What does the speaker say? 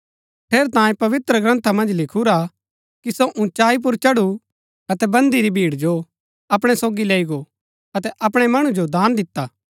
ठेरैतांये पवित्रग्रन्था मन्ज लिखुरा कि सो उँचाई पुर चढु अतै बन्दी री भीड़ जो अपणै सोगी लैई गो अतै अपणै मणु जो दान दिता